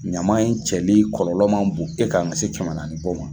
Ɲama in cɛli kɔlɔlɔ ma bon e kan k'a se kɛmɛ naani bɔ ma.